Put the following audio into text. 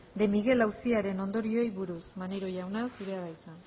de miguel auziaren ondorioei buruz maneiro jauna zurea da hitza